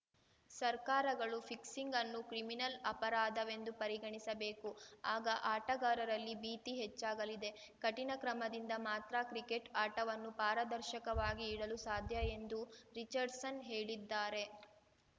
ಸರ್ಕಾರಗಳು ಫಿಕ್ಸಿಂಗ್‌ ಅನ್ನು ಕ್ರಿಮಿನಲ್‌ ಅಪರಾಧವೆಂದು ಪರಿಗಣಿಸಬೇಕು ಆಗ ಆಟಗಾರರಲ್ಲಿ ಭೀತಿ ಹೆಚ್ಚಾಗಲಿದೆ ಕಠಿಣ ಕ್ರಮದಿಂದ ಮಾತ್ರ ಕ್ರಿಕೆಟ್‌ ಆಟವನ್ನು ಪಾರದರ್ಶಕವಾಗಿ ಇಡಲು ಸಾಧ್ಯ ಎಂದು ರಿಚರ್ಡ್‌ಸನ್‌ ಹೇಳಿದ್ದಾರೆ